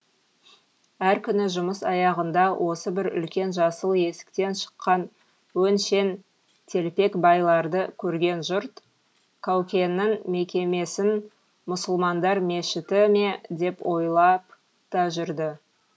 әр күні жұмыс аяғында осы бір үлкен жасыл есіктен шыққан өңшең телпекбайларды көрген жұрт қаукеңнің мекемесін мұсылмандар мешіті ме деп ойлап та жүрді